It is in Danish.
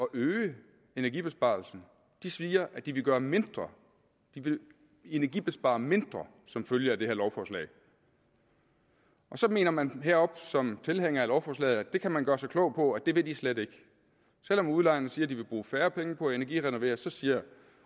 øge energibesparelsen siger at de vil gøre mindre de vil energibespare mindre som følge af det her lovforslag så mener man heroppe som tilhænger af lovforslaget at man kan gøre sig klog på at det vil de slet ikke selv om udlejerne siger at de vil bruge færre penge på at energirenovere så siger